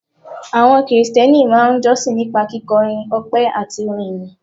Àwọn Krìsìtẹ́nì máa ń jọ́sìn nípa kíkọrin ọpẹ́ àti orin ìyìn